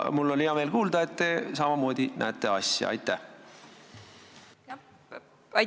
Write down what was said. Mul on hea meel kuulda, et teie näete seda asja samamoodi.